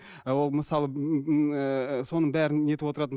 ы ол мысалы соның бәрін нетіп отыратын